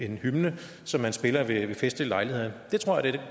en hymne som man spiller ved festlige lejligheder